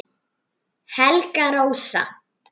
Helga Rósa